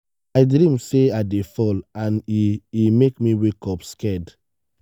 i dream say i dey fall and e e make me wake up scared.